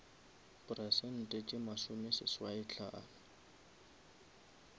peresente tše masome seswai hlano